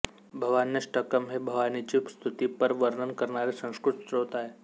भवान्यष्टकम् हे भवानीची स्तुतीपर वर्णन करणारे संस्कृत स्तोत्र आहे